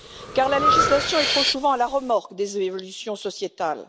Car la législation est trop souvent à la remorque des évolutions sociétales.